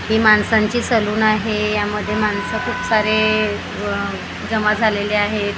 ही माणसांची सलून आहे यामध्ये माणसं खूप सारे अह जमा झालेले आहेत.